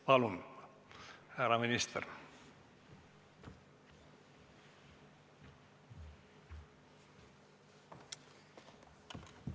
Palun, härra minister!